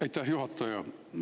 Aitäh, juhataja!